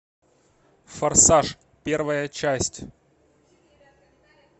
форсаж первая часть